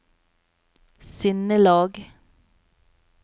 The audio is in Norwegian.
sinnelag